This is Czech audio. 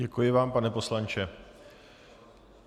Děkuji vám, pane poslanče.